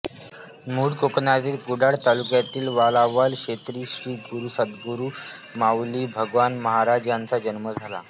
मूळ कोकणातील कुडाळ तालुक्यातील वालावल क्षेत्री श्री सद्गुरु माऊली भगवान महाराज यांचा जन्म झाला